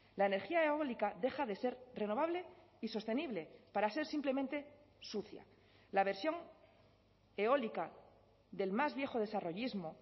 la energía eólica deja de ser renovable y sostenible para ser simplemente sucia la versión eólica del más viejo desarrollismo